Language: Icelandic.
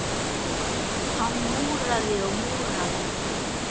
Hann múraði og múraði.